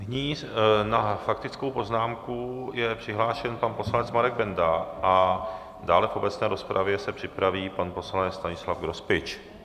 Nyní na faktickou poznámku je přihlášen pan poslanec Marek Benda a dále v obecné rozpravě se připraví pan poslanec Stanislav Grospič.